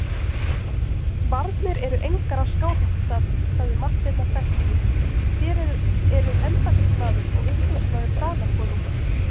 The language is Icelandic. Varnir eru engar á Skálholtsstað, sagði Marteinn af festu,-þér eruð embættismaður og umboðsmaður Danakonungs.